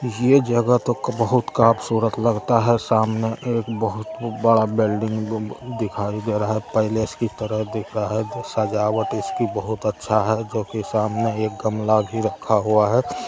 ये जगह तो बहुत कापसूरत लगता हैं सामने एक बहुत बड़ा बिल्डिंग दिखाई दे रहा है पैलेस की तरह दिख रहा है सजाबट इसकी बहुत अच्छा है जो की सामने एक गमला भी रखा हुआ है।